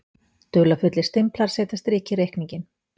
Dularfullir stimplar setja strik í reikninginn